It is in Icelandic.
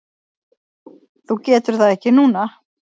Þú getur það ekki núna?